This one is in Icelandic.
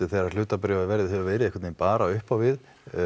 þegar að hlutabréfaverðið hefur verið einhvern veginn bara upp á við